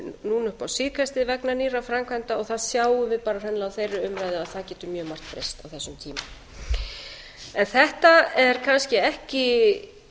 núna upp á síðkastið vegna nýrra framkvæmda og það sjáum við bara hreinlega á þeirri umræðu að það getur mjög margt breyst á þessum tíma þetta er kannski ekki